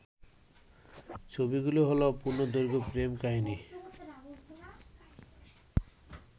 ছবিগুলো হলো পূর্ণদৈর্ঘ্য প্রেম কাহিনী